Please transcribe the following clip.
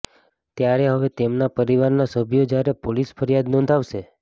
ત્યારે હવે તેમના પરિવારના સભ્યો જ્યારે પોલીસ ફરિયાદ નોંધાવશે